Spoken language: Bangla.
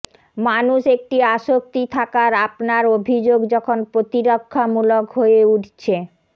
মানুষ একটি আসক্তি থাকার আপনার অভিযোগ যখন প্রতিরক্ষামূলক হয়ে উঠছে